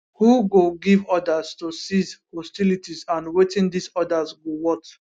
who go give orders to cease hostilities and wetin dis orders go worth